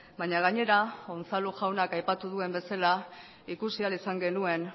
baina gainera unzalu jaunak aipatu duen bezala ikusi ahal izan genuen